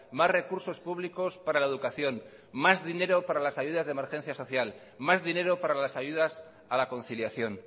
más recursos públicos para la educación más dinero para las ayudas de emergencia social más dinero para las ayudas a la conciliación